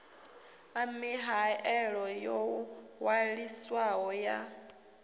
ḓa mihaelo yo ṅwaliswaho ya